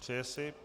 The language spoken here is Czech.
Přeje si.